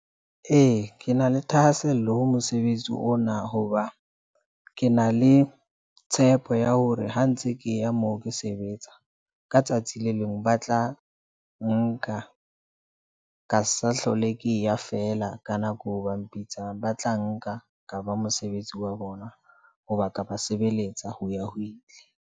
Ee, ke na le thahasello ho mosebetsi ona hoba ke na le tshepo ya hore ha ntse ke ya moo ke sebetsa. Ka tsatsi le leng ba tla nka ka sa hlole ke ya fela ka nako. Ba mpitsang ba tla nka ka ba mosebetsi wa bona hoba ka ba sebeletsa ho ya ho ile.